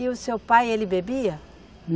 E o seu pai, ele bebia?